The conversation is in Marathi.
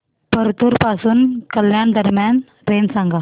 परतूर पासून कल्याण दरम्यान ट्रेन सांगा